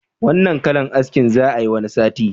Wanna kalan aski za'a yi wani sati?